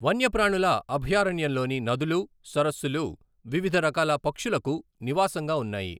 వన్యప్రాణుల అభయారణ్యంలోని నదులు, సరస్సులు వివిధ రకాల పక్షులకు నివాసంగా ఉన్నాయి.